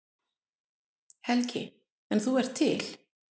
Helgi: En þú ert til?